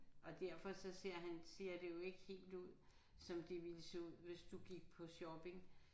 Og derfor så ser han ser det jo ikke helt ud som det ville se ud hvis du gik på shopping